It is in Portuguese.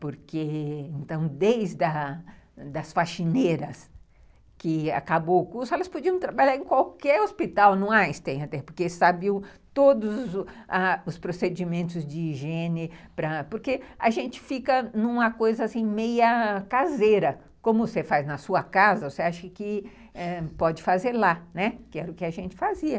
porque desde as as faxineiras que acabou o curso, elas podiam trabalhar em qualquer hospital no Einstein, porque sabe todos os procedimentos de higiene, porque a gente fica numa coisa assim meia caseira, como você faz na sua casa, você acha que ãh pode fazer lá, que era o que a gente fazia.